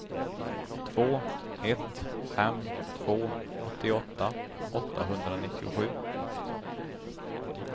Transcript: två ett fem två åttioåtta åttahundranittiosju